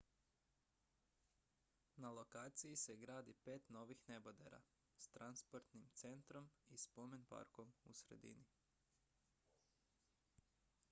na lokaciji se gradi pet novih nebodera s transportnim centrom i spomen-parkom u sredini